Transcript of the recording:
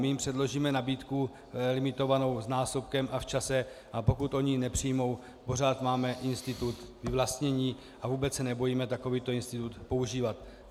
My jim předložíme nabídku limitovanou násobkem a v čase, a pokud oni ji nepřijmou, pořád máme institut vyvlastnění a vůbec se nebojíme takovýto institut používat.